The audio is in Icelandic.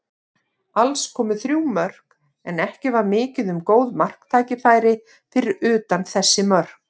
Alls komu þrjú mörk, en ekki var mikið um góð marktækifæri fyrir utan þessi mörk.